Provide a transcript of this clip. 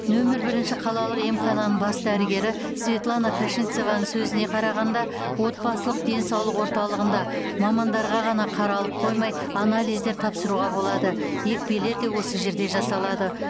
нөмір бірінші қалалық емхананың бас дәрігері светлана кашенцеваның сөзіне қарағанда отбасылық денсаулық орталығында мамандарға ғана қаралып қоймай анализдер тапсыруға болады екпелер де осы жерде жасалады